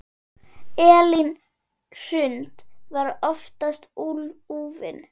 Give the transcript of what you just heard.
Elín Hrund var oftast úfin.